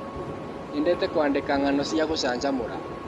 Nyendete kũandĩka ngano cia gũcanjamũra.